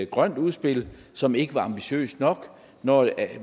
grønt udspil som ikke var ambitiøst nok nok